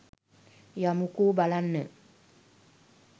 යමුකෝ බලන්න